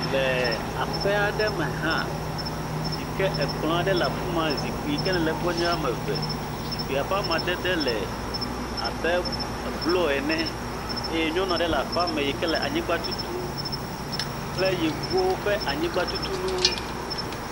Le aƒe aɖe me hã, si ke ekplɔ aɖe le afi ma zikpui ke le egbɔ nye eve. Zikpui ƒe amadede le abe blɔ ene eye nyɔnu aɖe le aƒea me yi ke le anyigba tutum kple yevuwo ƒe anyigbatutunu.